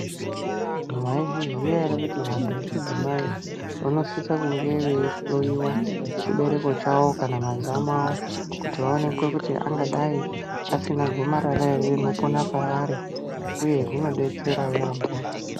Mwaizviziya ere kuti vantu vechidzimai vanosisa kumge veihloyiwa chibereko chawo kana mazamu awo kuti vaonekwa kuti angadai asina gomarara ere rinopona paari uye zvinodetsera yampho.